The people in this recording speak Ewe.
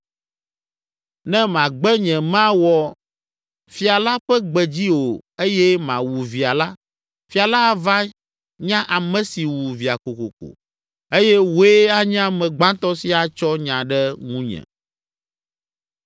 Ne magbe nyemawɔ fia la ƒe gbe dzi o eye mawu via la, fia la ava nya ame si wu via kokoko eye wòe anye ame gbãtɔ si atsɔ nya ɖe ŋunye.”